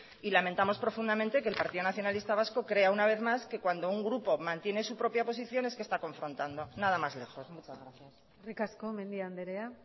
y lamentamos profundamente que el partido nacionalista vasco crea una vez más que cuando un grupo mantiene su propia posición es que está confrontando nada más lejos muchas gracias eskerrik asko mendia andrea